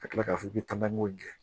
Ka tila k'a fɔ k'i bɛ taamanko gɛn